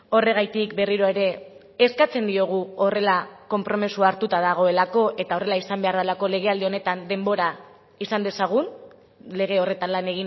horregatik berriro ere eskatzen diogu horrela konpromisoa hartuta dagoelako eta horrela izan behar delako legealdi honetan denbora izan dezagun lege horretan lan